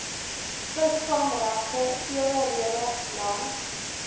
visvangregte eweredig langs